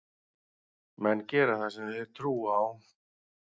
Menn gera það sem þeir trúa á.